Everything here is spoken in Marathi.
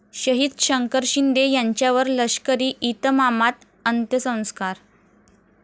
शहीद शंकर शिंदे यांच्यावर लष्करी इतमामात अंत्यसंस्कार